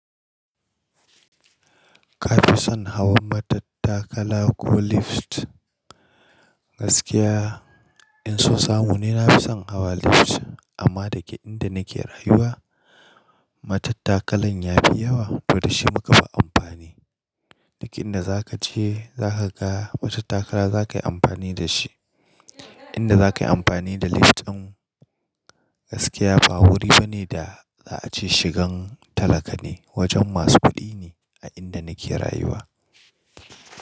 Ka fi son hawan matattakala ko lift? Gaskiya in so samu ne na fi son hawa lift amma dake inda nake rayuwa matattakalan ya fi yawa da shi muka fi amfani. Duk inda za ka je za ka ga matattakala za ka yi amfani da shi. Inda za ka yi amfani da lift ɗin gaskiya ba wuri ba ne da za a ce shigan talaka ne. Wajen masu kuɗi ne a inda nake rayuwa.